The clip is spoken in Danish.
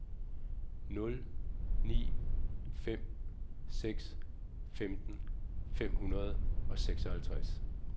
nul ni fem seks femten fem hundrede og seksoghalvtreds